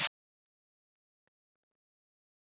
Nei, þakka þér fyrir.